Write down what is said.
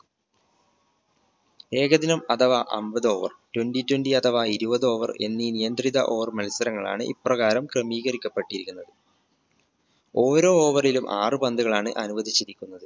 ഏകദിനം അഥവാ അൻപത് over twenty twenty അഥവാ ഇരുപത് over എന്നീ നിയന്ത്രിത over മത്സരങ്ങളാണ് ഇപ്രകാരം ക്രമീകരിക്കപ്പെട്ടിരിക്കുന്നത്. ഓരോ over ലും ആറ് പന്തുകളാണ് അനുവദിച്ചിരിക്കുന്നത്